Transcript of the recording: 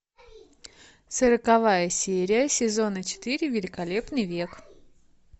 сороковая серия сезона четыре великолепный век